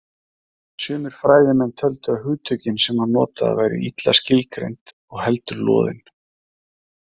Sumir fræðimenn töldu að hugtökin sem hann notaði væru illa skilgreind og heldur loðin.